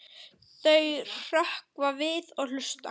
Þau hrökkva við og hlusta.